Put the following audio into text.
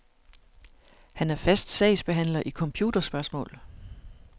Han er fast sagsbehandler i computerspørgsmål.